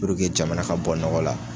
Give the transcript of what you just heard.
Puruke jamana ka bɔ nɔgɔ la